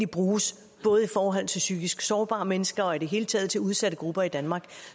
bruges til psykisk sårbare mennesker og i det hele taget til udsatte grupper i danmark